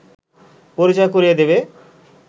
পরিচয় করিয়ে দেবে